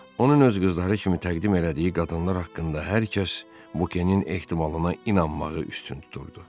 Onun öz qızları kimi təqdim elədiyi qadınlar haqqında hər kəs Bukenin ehtimalına inanmağı üstün tuturdu.